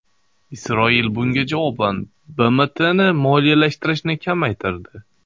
Isroil bunga javoban BMTni moliyalashtirishni kamaytirdi.